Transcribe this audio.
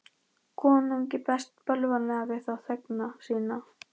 Konungi ferst bölvanlega við þá þegna sína.